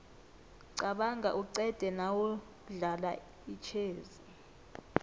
qabanga uqede nawudlala itjhezi